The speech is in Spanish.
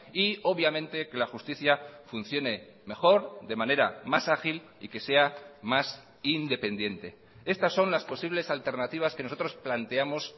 y obviamente que la justicia funcione mejor de manera más ágil y que sea más independiente estas son las posibles alternativas que nosotros planteamos